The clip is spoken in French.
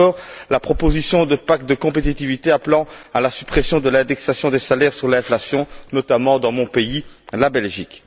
Ou encore, la proposition de pacte de compétitivité appelant à la suppression de l'indexation des salaires sur l'inflation, notamment dans mon pays, la Belgique.